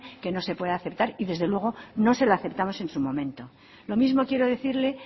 que no se puede aceptar y desde luego no se la aceptamos en su momento lo mismo quiero decirle